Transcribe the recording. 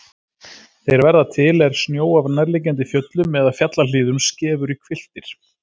Þeir verða til er snjó af nærliggjandi fjöllum eða fjallahlíðum skefur í hvilftir.